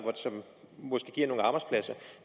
som måske giver nogle arbejdspladser